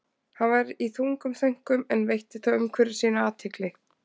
Hann var í þungum þönkum en veitti þó umhverfi sínu athygli.